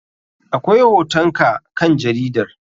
Akwai hoton ka kan jaridar.